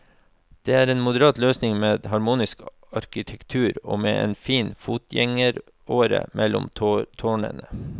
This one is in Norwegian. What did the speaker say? Det er en moderat løsning med harmonisk arkitektur og med en fin fotgjengeråre mellom tårnene.